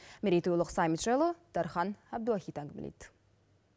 мерейтойлық саммит жайлы дархан әбдуахит әңгімелейді